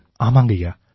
ஆமாங்கய்யா